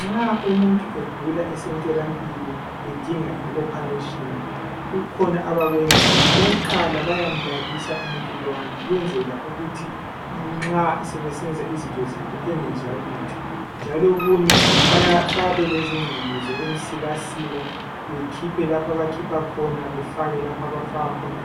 Nxa umuntu egula esemtholampilo, edinga ioperation. Kukhona abakwenzayo. Okokuqala bayamlalisa umuntu lowana, ukwenzela ukuthi nxa sebesenza izinto zabo, angezwa lutho. Futhi njalo okunye, bayabe belezingqamu zabo, ezokumsikasika. Bakhuphe lapho abakhupha khona, bafake lapha abafaka khona.